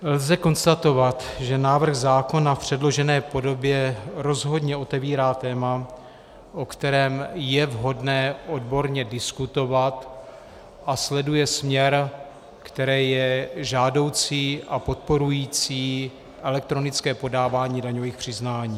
Lze konstatovat, že návrh zákona v předložené podobě rozhodně otevírá téma, o kterém je vhodné odborně diskutovat, a sleduje směr, který je žádoucí a podporující elektronické podávání daňových přiznání.